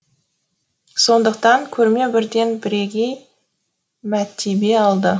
сондықтан көрме бірден бірегей мәртебе алды